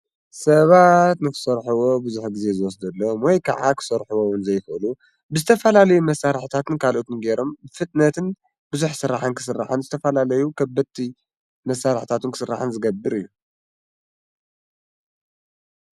ሰባት ንኽሠርሒቦ ብዙኅ ጊዜ ዝወስደሎም ወይ ከዓ ኽሠርሒቦውን ዘይፈሉ ብዝተፋላለዩ መሣራሕታትን ካልኦቱን ገይሮም ብፍጥነትን ብዙኅ ሥራሐን ክሥርሐን ዝተፋላለዩ ኸበቲ መሣራሕታቱን ክሥርሐን ዝገብር እዩ።